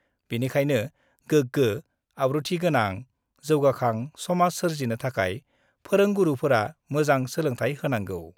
बेनिखायनो गोग्गो, आब्रुथि गोनां, जौगाखां समाज सोर्जिनो थाखाय फोरोंगुरुफोरा मोजां सोलोंथाइ होनांगौ।